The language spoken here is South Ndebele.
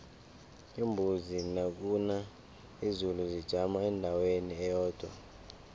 iimbuzi nakuna izulu zijama endaweni eyodwa